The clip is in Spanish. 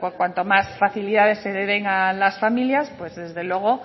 porque cuantas más facilidades se den a las familias desde luego